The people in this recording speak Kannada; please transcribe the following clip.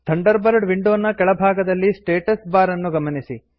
ಥಂಡರ್ಬರ್ಡ್ ವಿಂಡೋ ನ ಕೆಳ ಭಾಗದಲ್ಲಿ ಸ್ಟಾಟಸ್ ಬಾರ್ ಅನ್ನು ಗಮನಿಸಿ